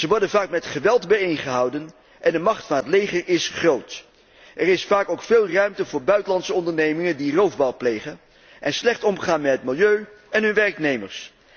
Ze worden vaak met geweld bijeen gehouden en de macht van het leger is groot. Er is vaak ook veel ruimte voor buitenlandse ondernemingen, die roofbouw plegen en slecht omgaan met het milieu en hun werknemers.